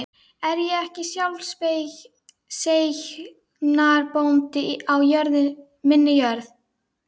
Er ég ekki sjálfseignarbóndi á minni jörð?